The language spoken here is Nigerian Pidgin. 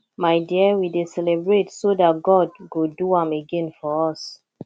my dear we dey celebrate so dat god go do am again for us